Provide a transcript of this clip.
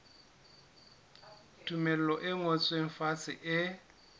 tumello e ngotsweng fatshe e